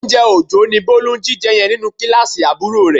Oúnjẹ Òjó ni Bólú ń jíjẹ yẹn nínú kíláàsì àbúrò rẹ